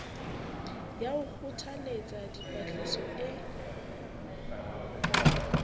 ya ho kgothalletsa dipatlisiso e